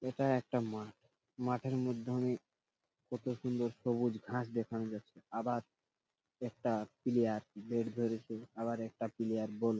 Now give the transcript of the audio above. এইটা একটা মাঠ মাঠের মধ্যে অনেক কত সুন্দর সবুজ ঘাস দেখানো যাচ্ছে আবার একটা প্লেয়ার ব্যাট ধরেছে আবার একটা প্লেয়ার বল --